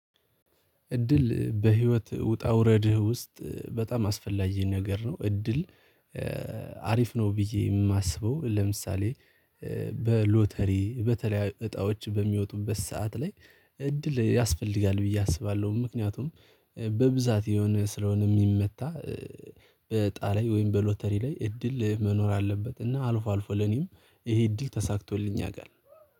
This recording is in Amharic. እድል በህይወት ውጣ ውረድህ ውስጥ በጣም አስፈላጊ ነገር ነው። እድል አሪፍ ነው። ብዬ የማስበው ለምሳሌ በሎተሪ በተለያዩ እጣዎች በሚወጡበት ሰዓት ላይ እድል ያስፈልጋል ብዬ አስባለሁ። ምክንያቱም በብዛት የሆነ ስለሆነ የሚመታ በጣላይ ወይም በሎተሪ ላይ እድል መኖር አለበት። እና አልፎ አልፎ ለኔም ይሄ እድል ተሳክቶልኝ ያቃል